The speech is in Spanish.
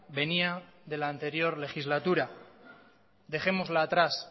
venía de la anterior legislatura dejémosla atrás